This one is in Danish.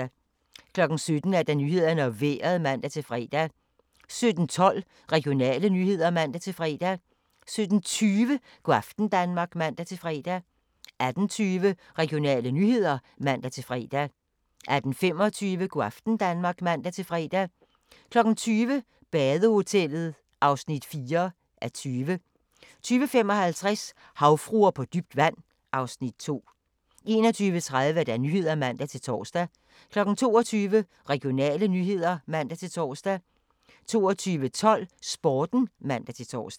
17:00: Nyhederne og Vejret (man-fre) 17:12: Regionale nyheder (man-fre) 17:20: Go' aften Danmark (man-fre) 18:20: Regionale nyheder (man-fre) 18:25: Go' aften Danmark (man-fre) 20:00: Badehotellet (4:20) 20:55: Havfruer på dybt vand (Afs. 2) 21:30: Nyhederne (man-tor) 22:00: Regionale nyheder (man-tor) 22:12: Sporten (man-tor)